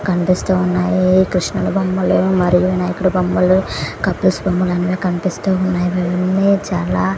కనిపిస్తూ ఉన్నాయి.కృష్ణుడి బొమ్మలు మరియు వినాయకుడి బొమ్మలు అన్ని కనిపిస్తున్నాయి.ఇవి అన్నిచాలా--